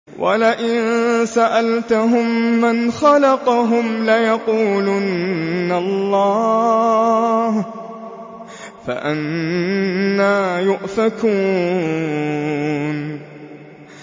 وَلَئِن سَأَلْتَهُم مَّنْ خَلَقَهُمْ لَيَقُولُنَّ اللَّهُ ۖ فَأَنَّىٰ يُؤْفَكُونَ